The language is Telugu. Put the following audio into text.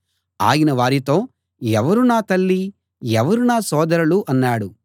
ఆయన వారితో ఎవరు నా తల్లి ఎవరు నా సోదరులు అన్నాడు